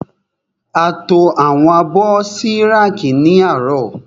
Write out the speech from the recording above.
A to àwọn abọ́ sí rákì ní àárọ̀.